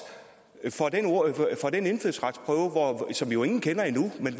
for den indfødsretsprøve som jo ingen kender endnu men